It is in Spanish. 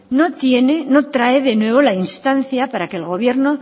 no tiene no trae de nuevo la instancia para que el gobierno